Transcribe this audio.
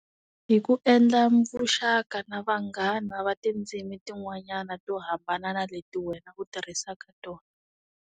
Hi ku endla vuxaka na vanghana va tindzimi tin'wanyana to hambana na leti wena ku tirhisaka tona.